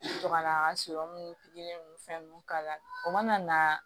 Sɔrɔ ka na n ka so ninnu pikiri ninnu fɛn ninnu k'a la o mana na